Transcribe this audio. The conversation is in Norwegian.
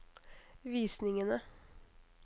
visningene